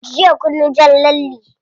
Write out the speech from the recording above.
Jiya kunyi jan lalle?